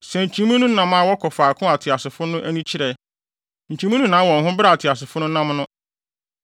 Sɛ nkyimii no nam a wɔkɔ faako a ateasefo no ani kyerɛ; nkyimii no nnan wɔn ho bere a ateasefo no nam no.